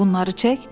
Bunları çək.